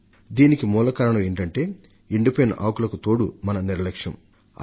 వనాలలోని మంటలకు మూల కారణం ఏంటంటే ఎండిపోయిన ఆకులకు మన నిర్లక్ష్యం తోడవడం